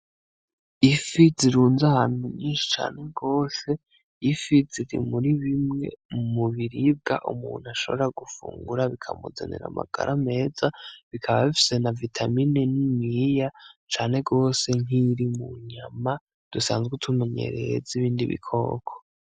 Ifi zirunze ahantu nyinshi cane gose, ifi ziri muri bimwe mu biribwa umuntu ashobora gufungura bikamuzanira amagara meza, bikaba bifise na vitamine niniya cane gose nk'iyiri mu nyama dusanzwe tumenyereye z'ibindi bikoko.